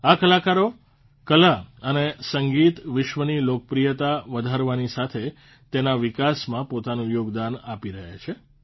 આ કલાકારો કલા અને સંગીત વિશ્વની લોકપ્રિયતા વધારવાની સાથે તેના વિકાસમાં પોતાનું યોગદાન આપી રહ્યા છે